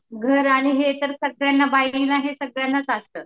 घर आणि हे तर सगळ्यांना बाईंना सगळ्यांनाच असतं